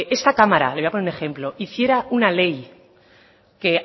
esta cámara hiciera una ley que